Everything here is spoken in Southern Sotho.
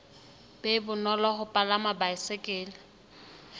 be bonolo ho palama baesekele